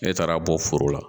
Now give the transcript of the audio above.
Ne taara bɔ foro la